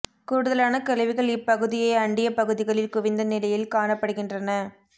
கூடுதலான கழிவுகள் இப்பகுதியை அண்டிய பகுதிகளில் குவிந்த நிலையில் காணப்படுகின்றன